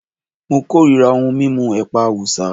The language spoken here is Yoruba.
Mo korira ohun mímu ẹ̀pà Awúsá